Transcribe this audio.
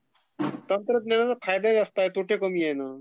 तंत्रज्ञानाचा फायदा जास्ती आहे तोटे कमी आहे..ना..